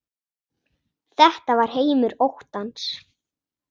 Þetta var heimur óttans.